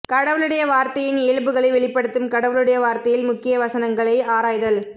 கடவுளுடைய வார்த்தையின் இயல்புகளை வெளிப்படுத்தும் கடவுளுடைய வார்த்தையில் முக்கிய வசனங்களை ஆராய்தல்